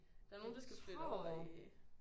Der er jo nogen der skal flytte over i